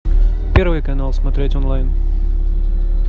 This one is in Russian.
первый канал смотреть онлайн